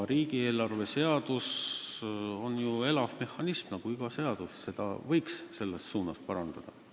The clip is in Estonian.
Riigieelarve seadus on ju elav mehhanism nagu iga seadus, seda võiks selles suunas parandada.